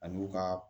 Ani u ka